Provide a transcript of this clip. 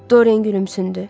Dorien gülümsündü.